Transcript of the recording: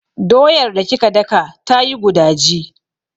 Doyar da kika daka tayi gudaji.